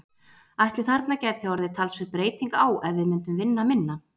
Ætli þarna gæti orðið talsverð breyting á ef við myndum vinna minna?